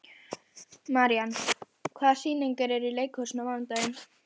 Marían, hvaða sýningar eru í leikhúsinu á mánudaginn?